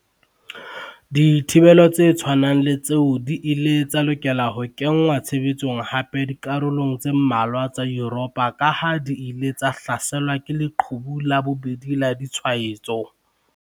Dithibelo tse tshwanang le tseo di ile tsa lokela ho kenngwa tshebetsong hape dikarolong tse mmalwa tsa Yuropa kaha di ile tsa hlaselwa ke 'leqhubu la bobedi' la ditshwaetso.